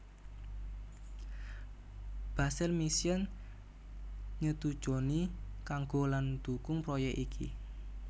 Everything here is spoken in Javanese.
Basel Mission nyetujoni kanggo lan ndukung proyek iki